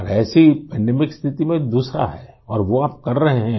और ऐसी पैंडेमिक स्थिति में दूसरा है और वो आप कर रहे हैं